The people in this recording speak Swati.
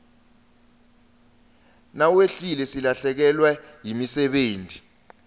nawehlile silahlekewa nayimisebeti